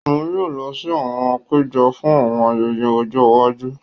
Òun yóò lọ si àwọn àpéjọ fún àwọn ayẹyẹ ojó iwájú.